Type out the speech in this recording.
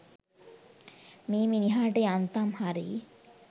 මේ මිනිහාට යන්තම් හරි